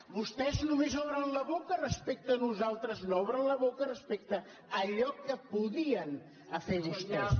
vostès només obren la boca respecte a nosaltres no obren la boca respecte a allò que podien fer vostès